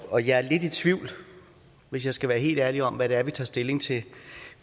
og jeg er lidt i tvivl hvis jeg skal være helt ærlig om hvad det er vi tager stilling til